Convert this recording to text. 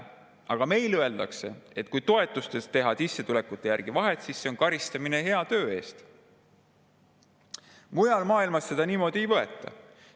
Aga meil öeldakse, et kui toetustes teha sissetulekute järgi vahet, siis see on karistamine hea töö eest … Mujal maailmas seda niimoodi ei võeta.